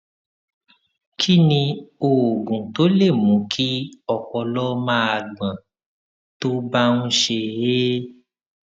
kí ni oògùn tó lè mú kí ọpọlọ máa gbọn tó bá ń ṣe é